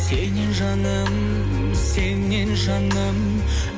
сенен жаным сенен жаным